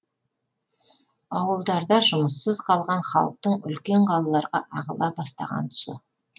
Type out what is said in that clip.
ауылдарда жұмыссыз қалған халықтың үлкен қалаларға ағыла бастаған тұсы